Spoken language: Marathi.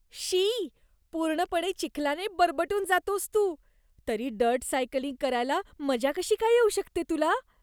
शी. पूर्णपणे चिखलाने बरबटून जातोस तू, तरी डर्ट सायकलिंग करायला मजा कशी काय येऊ शकते तुला?